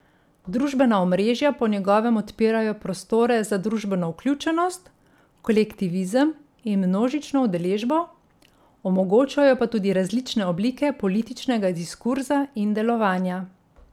Družbena omrežja po njegovem odpirajo prostore za družbeno vključenost, kolektivizem in množično udeležbo, omogočajo pa tudi različne oblike političnega diskurza in delovanja.